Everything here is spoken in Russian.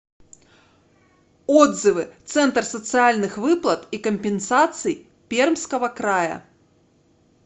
отзывы центр социальных выплат и компенсаций пермского края